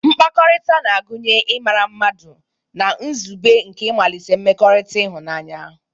Mkpakọrịta na-agụnye ịmara mmadụ na nzube nke ịmalite mmekọrịta ịhụnanya.